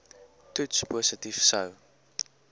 toets positief sou